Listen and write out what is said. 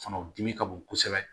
Fana o dimi ka bon kosɛbɛ